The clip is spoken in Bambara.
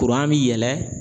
mi yɛlɛn